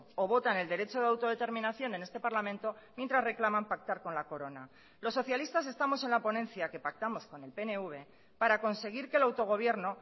o votan el derecho de autodeterminación en este parlamento mientras reclaman pactar con la corona los socialistas estamos en la ponencia que pactamos con el pnv para conseguir que el autogobierno